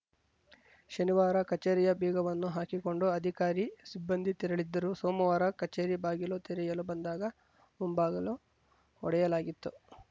ಶನಿವಾರ ಕಚೇರಿಯ ಬೀಗವನ್ನು ಹಾಕಿಕೊಂಡು ಅಧಿಕಾರಿ ಸಿಬ್ಬಂದಿ ತೆರಳಿದ್ದರು ಸೋಮವಾರ ಕಚೇರಿ ಬಾಗಿಲು ತೆರೆಯಲು ಬಂದಾಗ ಮುಂಬಾಗಿಲು ಒಡೆಯಲಾಗಿತ್ತು